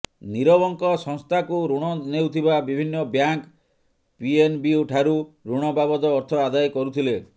ନିରବଙ୍କ ସଂସ୍ଥାକୁ ଋଣ ନେଉଥିବା ବିଭିନ୍ନ ବ୍ୟାଙ୍କ ପିଏନ୍ବିଠାରୁ ଋଣ ବାବଦ ଅର୍ଥ ଆଦାୟ କରୁଥିଲେ